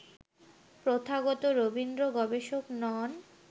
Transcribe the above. প্রথাগত রবীন্দ্র-গবেষক নন